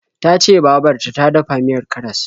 Ta ce babar ta ta dafa miyar karas.